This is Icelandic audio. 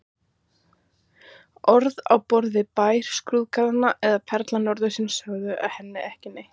Orð á borð við Bær skrúðgarðanna eða Perla norðursins sögðu henni ekki neitt.